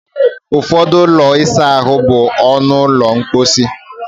Ụfọdụ ụlọ ịsa ahụ bụ ọnụ ụlọ mposi